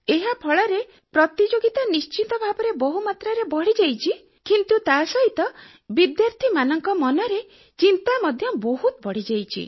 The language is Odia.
ଏହା ଫଳରେ ପ୍ରତିଯୋଗିତା ନଶ୍ଚିତ ଭାବରେ ବହୁ ମାତ୍ରାରେ ବଢିଯାଇଛି କିନ୍ତୁ ତାସହିତ ବିଦ୍ୟାର୍ଥୀମାନଙ୍କ ମନରେ ଚିନ୍ତା ମଧ୍ୟ ବହତୁ ବଢିଯାଇଛି